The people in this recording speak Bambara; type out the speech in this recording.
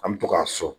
An mi to k'a so